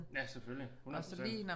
Ja selvfølgelig 100%